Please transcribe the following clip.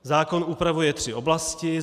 Zákon upravuje tři oblasti.